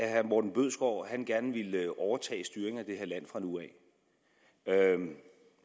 at herre morten bødskov gerne ville overtage styringen af det her land fra nu af